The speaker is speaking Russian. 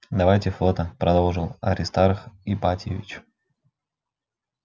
давайте фото продолжил аристарх ипатьевич